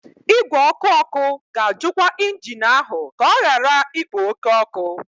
Igwe ọkụ ọkụ ga-ajụkwa injin ahụ ka ọ ghara ikpo oke ọkụ.